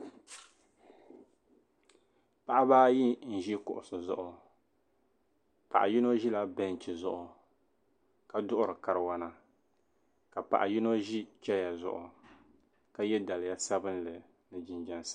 paɣiba ayi n-ʒi kuɣisi zuɣu paɣ' yino ʒila beinchi zuɣu ka duɣiri kariwana ka paɣ' yino ʒi chaya zuɣu ka ye daliya ni jinjam sabilinli